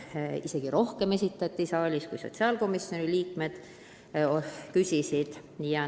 Siin esitati isegi rohkem küsimusi, kui sotsiaalkomisjoni liikmed oma istungil küsisid.